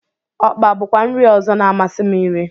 Ọkpa bụkwa nri ọzọ na-amasị m irí.